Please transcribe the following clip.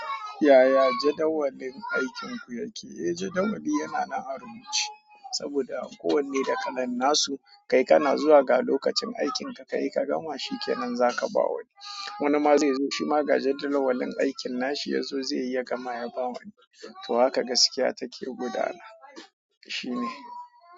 Yaya jadawalin aikin ku yake, eh jadawali yana nan a rubuce saboda kowanne da kalan nasu kai kana zuwa ga lokacin aikin ka kayi ka gama shikenan zaka ba wani wani ma zai zo shi ma ga jadawalin aikin nashi yazo zai yi ya gama ya ba wani. To haka gaskiya take gudana. Shine.